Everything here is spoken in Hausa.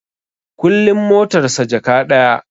Kullin motar sa Jaka ɗaya